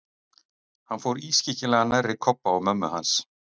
Hann fór ískyggilega nærri Kobba og mömmu hans.